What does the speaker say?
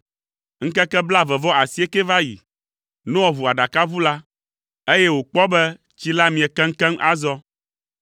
Ŋkeke blaeve-vɔ-asiekɛ va yi. Noa ʋu aɖakaʋu la, eye wòkpɔ be tsi la mie keŋkeŋ azɔ.